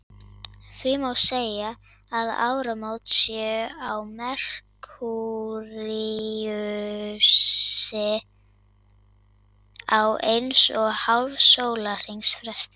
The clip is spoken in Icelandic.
Því má segja að áramót séu á Merkúríusi á eins og hálfs sólarhrings fresti.